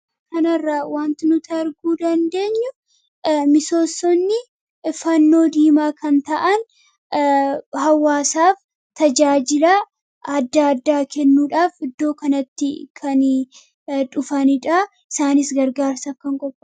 kanarra wanti nutaarguu dandeenyu misoossonni fannoo diimaa kan ta'an hawaasaaf tajaajila adda addaa kennuudhaaf iddoo kanatti kan dhufaniidhaa isaaniis gargaarsaaf kan qob